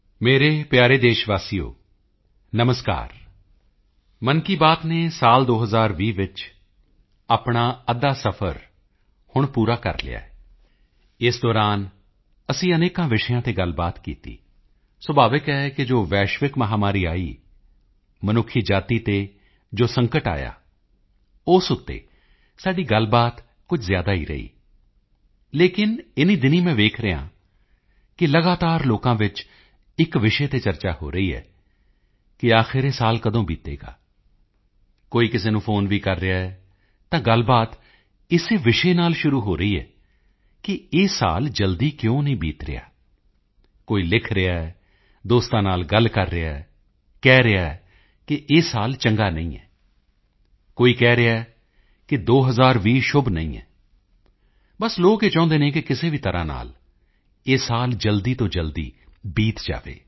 ਮੇਰੇ ਪਿਆਰੇ ਦੇਸ਼ਵਾਸੀਓ ਨਮਸਕਾਰ ਮਨ ਕੀ ਬਾਤ ਨੇ ਸਾਲ 2020 ਵਿੱਚ ਆਪਣਾ ਅੱਧਾ ਸਫ਼ਰ ਹੁਣ ਪੂਰਾ ਕਰ ਲਿਆ ਹੈ ਇਸ ਦੌਰਾਨ ਅਸੀਂ ਅਨੇਕਾਂ ਵਿਸ਼ਿਆਂ ਤੇ ਗੱਲਬਾਤ ਕੀਤੀ ਸੁਭਾਵਿਕ ਹੈ ਕਿ ਜੋ ਵੈਸ਼ਵਿਕ ਮਹਾਮਾਰੀ ਆਈ ਮਨੁੱਖ ਜਾਤੀ ਤੇ ਜੋ ਸੰਕਟ ਆਇਆ ਉਸ ਤੇ ਸਾਡੀ ਗੱਲਬਾਤ ਕੁਝ ਜ਼ਿਆਦਾ ਹੀ ਰਹੀ ਲੇਕਿਨ ਇਨ੍ਹੀਂ ਦਿਨੀਂ ਮੈਂ ਦੇਖ ਰਿਹਾ ਹਾਂ ਕਿ ਲਗਾਤਾਰ ਲੋਕਾਂ ਵਿੱਚ ਇੱਕ ਵਿਸ਼ੇ ਤੇ ਚਰਚਾ ਹੋ ਰਹੀ ਹੈ ਕਿ ਆਖਿਰ ਇਹ ਸਾਲ ਕਦੋਂ ਬੀਤੇਗਾ ਕੋਈ ਕਿਸੇ ਨੂੰ ਫ਼ੋਨ ਵੀ ਕਰ ਰਿਹਾ ਹੈ ਤਾਂ ਗੱਲਬਾਤ ਇਸੇ ਵਿਸ਼ੇ ਨਾਲ ਸ਼ੁਰੂ ਹੋ ਰਹੀ ਹੈ ਕਿ ਇਹ ਸਾਲ ਜਲਦੀ ਕਿਉਂ ਨਹੀਂ ਬੀਤ ਰਿਹਾ ਕੋਈ ਲਿਖ ਰਿਹਾ ਹੈ ਦੋਸਤਾਂ ਨਾਲ ਗੱਲ ਕਰ ਰਿਹਾ ਹੈ ਕਹਿ ਰਿਹਾ ਹੈ ਕਿ ਇਹ ਸਾਲ ਚੰਗਾ ਨਹੀਂ ਹੈ ਕੋਈ ਕਹਿ ਰਿਹਾ ਹੈ ਕਿ 2020 ਸ਼ੁਭ ਨਹੀਂ ਹੈ ਬਸ ਲੋਕ ਇਹੀ ਚਾਹੁੰਦੇ ਹਨ ਕਿ ਕਿਸੇ ਵੀ ਤਰ੍ਹਾਂ ਨਾਲ ਇਹ ਸਾਲ ਜਲਦੀ ਤੋਂ ਜਲਦੀ ਬੀਤ ਜਾਵੇ